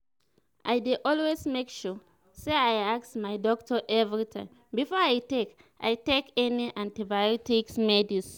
i dey always make sure say i ask my doctor everytime before i take i take any antibiotics medicine